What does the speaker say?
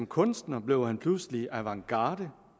kunstner blev han pludselig avantgarde